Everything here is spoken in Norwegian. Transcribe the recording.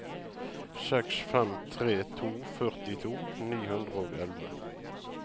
seks fem tre to førtito ni hundre og elleve